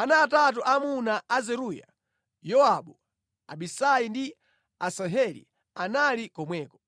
Ana atatu aamuna a Zeruya, Yowabu, Abisai ndi Asaheli anali komweko.